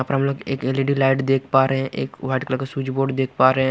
ऊपर हम लोग एक एल_इ_डी लाइट देख पा रहे एक व्हाइट कलर का स्विच बोर्ड देख पा रहे--